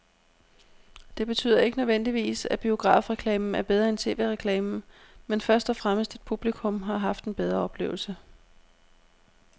Det betyder ikke nødvendigvis, at biografreklamen er bedre end tv-reklamen, men først og fremmest at publikum har haft en bedre oplevelse.